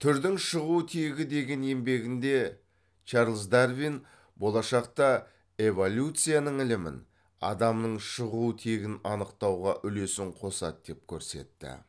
түрдің шығу тегі деген еңбегінде чарльз дарвин болашақта эволюцияның ілімін адамның шығу тегін анықтауға үлесін қосады деп көрсетті